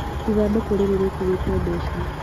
Ithandũkũ rĩrĩ rĩkuĩte mbeca